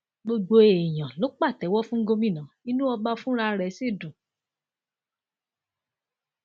gbogbo èèyàn ló pàtẹwọ fún gómìnà inú ọba fúnra rẹ sì dùn